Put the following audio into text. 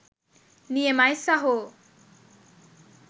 නියමයි සහෝ.